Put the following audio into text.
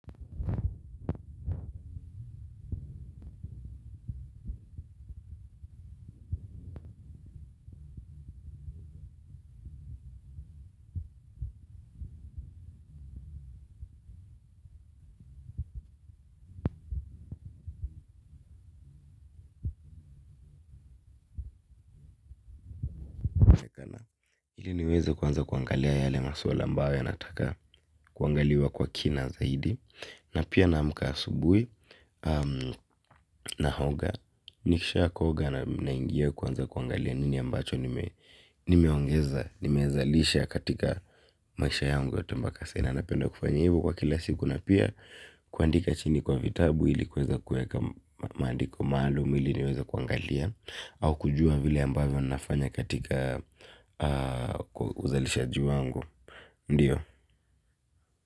Ili niweze kwanza kuangalia yale maswala ambayo yanataka kuangaliwa kwa kina zaidi na pia na muka asubui na hoga. Nikisha koga na ingia kwanza kuangalia nini ambacho nimeongeza, nimezalisha katika maisha yangu ya tembakasena. Na penda kufanya hivo kwa kila siku na pia kuandika chini kwa vitabu ilikuweza kuweka maandiko maalum iliniweza kuangalia. Au kujua vile ambayo nafanya katika uzalishaji wangu, ndiyo?